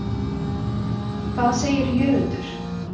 Hvað segir Jörundur?